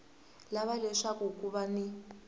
lava leswaku ku va ni